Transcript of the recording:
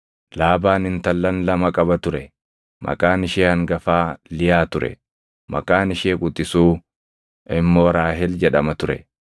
Laabaan intallan lama qaba ture; maqaan ishee hangafaa Liyaa ture; maqaan ishee quxisuu immoo Raahel jedhama ture.